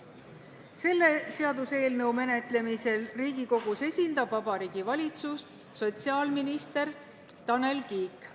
Selle seaduseelnõu menetlemisel Riigikogus esindab Vabariigi Valitsust sotsiaalminister Tanel Kiik.